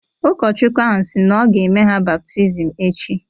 Ụkọchukwu ahụ sị na ọ ga-eme ya baptizim echi.